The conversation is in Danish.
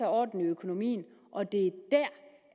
orden i økonomien og det